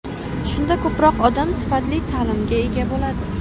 Shunda ko‘proq odam sifatli ta’limga ega bo‘ladi.